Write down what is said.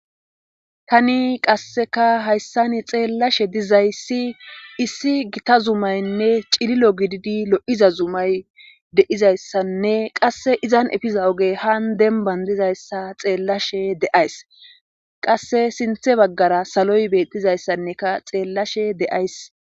tani qasseka hayssani xeellashe dizayssi issi gita zumaynne cililo gididi lo:iza zumay deizayssanne qasse izan efiza ogey haan dembanvdizayssa xeellashe de'ays qasse sinthe baggara saloy beettizayssanneka xeellashe de'ays